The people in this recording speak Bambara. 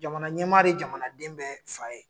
Jamana ɲɛmaa de ye jamanaden bɛɛ fa ye